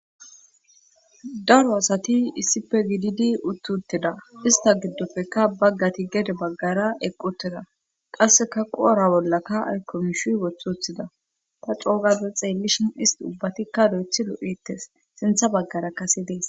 Daro asati issife gididi uttuttida ista giddopfekka baggati gede baggara eqqutida qasseka qoora bollaka aykomshu wothuthida ta coogade xeellishin isti ubbatikka do7ethi lo7ites sintha baggara kasi dees.